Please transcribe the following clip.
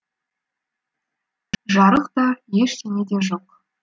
жарық та ештеңе де жоқ